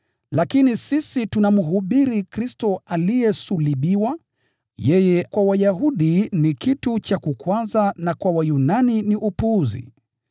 Lakini sisi tunamhubiri Kristo aliyesulubiwa: yeye kwa Wayahudi ni kikwazo na kwa Wayunani ni upuzi.